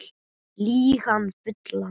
Lýg hann fullan